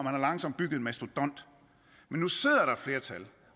har langsomt bygget en mastodont men nu sidder der et flertal